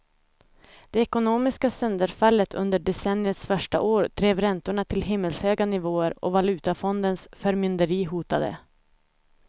Det ekonomiska sönderfallet under decenniets första år drev räntorna till himmelshöga nivåer och valutafondens förmynderi hotade.